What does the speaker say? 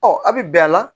Ɔ a bɛ bɛn a la